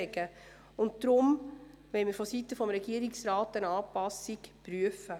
Deshalb will die Regierung eine Anpassung prüfen.